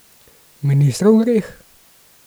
Ministrov greh?